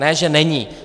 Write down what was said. Ne že není!